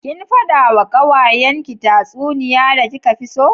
Kin fada wa kawayanki tatsuniya da kika fi so?